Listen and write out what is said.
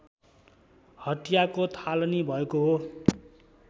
हटियाको थालनी भएको हो